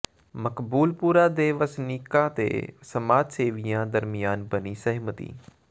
ਮਕਬੂਲਪੁਰਾ ਦੇ ਵਸਨੀਕਾਂ ਤੇ ਸਮਾਜ ਸੇਵੀਆਂ ਦਰਮਿਆਨ ਬਣੀ ਸਹਿਮਤੀ